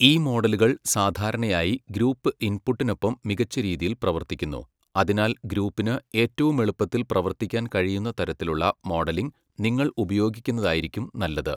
ഈ മോഡലുകൾ സാധാരണയായി ഗ്രൂപ്പ് ഇൻപുട്ടിനൊപ്പം മികച്ച രീതിയിൽ പ്രവർത്തിക്കുന്നു, അതിനാൽ ഗ്രൂപ്പിന് ഏറ്റവും എളുപ്പത്തിൽ പ്രവർത്തിക്കാൻ കഴിയുന്ന തരത്തിലുള്ള മോഡലിംഗ് നിങ്ങൾ ഉപയോഗിക്കുന്നതായിരിക്കും നല്ലത്.